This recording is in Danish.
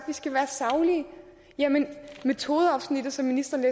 vi skal være saglige jamen i metodeafsnittet som ministeren